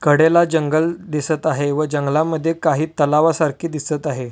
कडेला जंगल दिसत आहे व जंगला मद्धे काही तलावासारखे दिसत आहे.